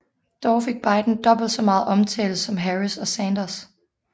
Dog fik Biden dobbelt så meget omtale som Harris og Sanders